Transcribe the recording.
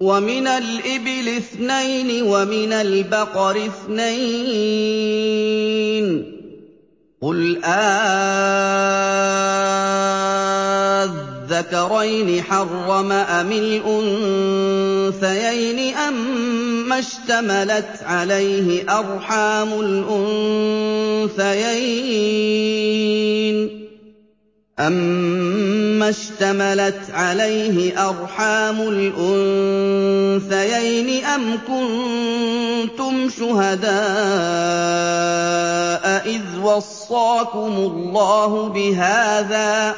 وَمِنَ الْإِبِلِ اثْنَيْنِ وَمِنَ الْبَقَرِ اثْنَيْنِ ۗ قُلْ آلذَّكَرَيْنِ حَرَّمَ أَمِ الْأُنثَيَيْنِ أَمَّا اشْتَمَلَتْ عَلَيْهِ أَرْحَامُ الْأُنثَيَيْنِ ۖ أَمْ كُنتُمْ شُهَدَاءَ إِذْ وَصَّاكُمُ اللَّهُ بِهَٰذَا ۚ